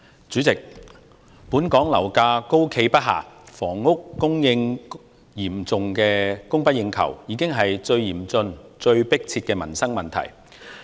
主席，本港樓價高企不下，房屋嚴重供不應求，這已成為最嚴峻、最迫切的民生問題。